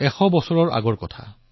এশ এক বছৰ পুৰণি কথা